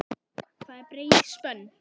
Það er breið spönn.